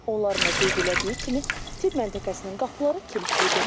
Onların da qeyd elədiyi kimi, tibb məntəqəsinin qapıları kilitlidir.